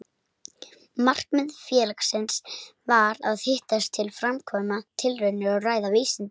Markmið félagsins var að hittast til að framkvæma tilraunir og ræða vísindi.